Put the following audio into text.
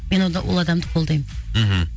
мен онда ол адамды қолдаймын мхм